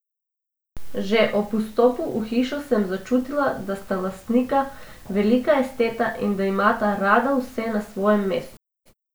Že ob vstopu v hišo sem začutila, da sta lastnika velika esteta in da imata rada vse na svojem mestu.